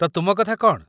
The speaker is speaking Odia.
ତ, ତୁମ କଥା କ'ଣ?